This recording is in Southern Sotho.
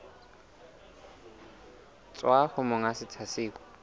tswa ho monga setsha seo